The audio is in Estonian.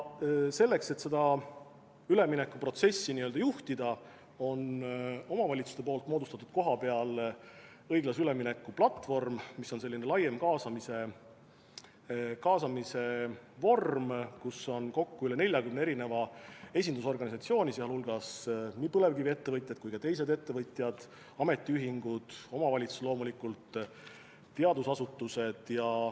Selleks, et seda üleminekuprotsessi juhtida, on omavalitsused kohapeal loonud õiglase ülemineku platvormi, mis on selline laiem kaasamise vorm, kus on kokku esindatud üle 40 esindusorganisatsiooni, sh nii põlevkiviettevõtjad kui ka teised ettevõtjad, ametiühingud, omavalitsus loomulikult, teadusasutused.